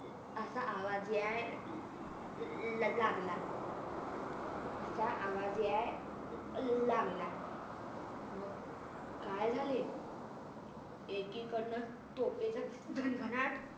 असा आवाज याय अर लागला असा आवाज याय लागला मग काय झाले अह एकीकडण तोफयांचा घनघनाट